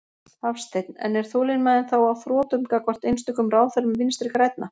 Hafsteinn: En er þolinmæðin þá á þrotum gagnvart einstökum ráðherrum Vinstri-grænna?